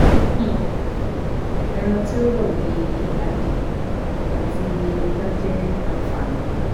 um Ẹran tí ó rọ̀ bíi adìẹ àti ẹja jẹ́ àfààní